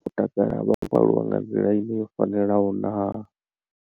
vho takala vha khou aluwa nga nḓila ine yo fanelaho naa.